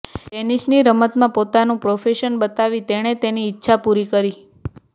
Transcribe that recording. ટેનિસની રમતમાં પોતાનું પ્રોફેશન બનાવી તેણે તેની ઈચ્છા પૂરી કરી